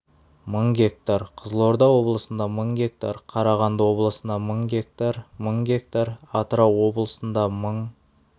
мың га қызылорда облысында мың га қарағанды облысында мың га мың га атырау облысында мың